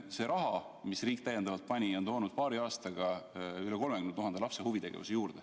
See raha, mille riik täiendavalt huvitegevusse pani, on toonud paari aastaga üle 30 000 lapse huvitegevuse juurde.